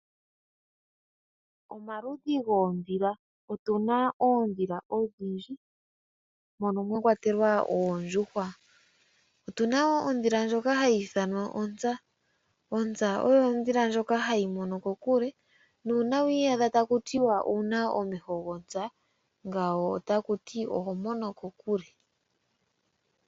Omaludhi goondhila Otu na oondhila odhindji mono mwa kwatelwa oondjuhwa. Otu na wo ondhila ndjono hayi ithanwa onza. Onza oyo ondhila ndjoka hayi mono kokule nuuna wi iyadha taku tiwa owu na omeho gontsa, ngawo otaku ti oho mono kokule.